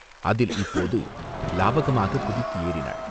அதில் இப்போது லாகவமாகக் குதித்து ஏறினாள்.